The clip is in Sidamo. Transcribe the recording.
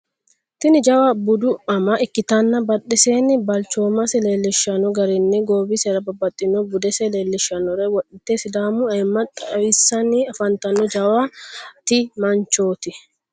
tini jawa budu ama ikkitanna budesenna balchomase leelishanno garinni goowisera babbaxxinnoha budese leellishannore woxxite sidaamu ayimma xawusanni afantanno jawata manchoti.